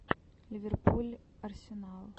ливерпуль арсенал